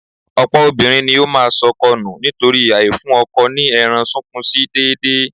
Ọ̀pọ̀ obìnrin ní ó máa sọkọ nù nítorí àìfún ọkọ ní ẹran-sunkúnsí déédéé